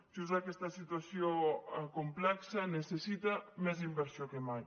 just aquesta situació complexa necessita més inversió que mai